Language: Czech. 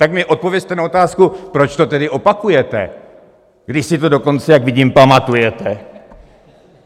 Tak mi odpovězte na otázku, proč to tedy opakujete, když si to dokonce, jak vidím, pamatujete?